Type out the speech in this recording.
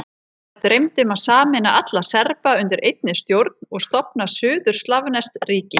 Þá dreymdi um að sameina alla Serba undir einni stjórn og stofna suður-slavneskt ríki.